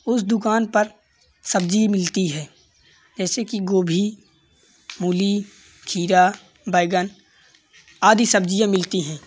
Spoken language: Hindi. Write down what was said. उस दुकान पर सब्जी मिलती है। जैसे कि गोभी मूली खीरा बैंगन आदि सब्जियां मिलती हैं।